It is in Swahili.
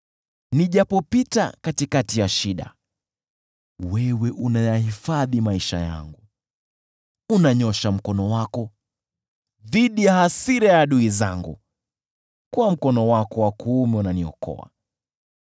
Nijapopita katikati ya shida, wewe unayahifadhi maisha yangu, unanyoosha mkono wako dhidi ya hasira ya adui zangu, kwa mkono wako wa kuume unaniokoa.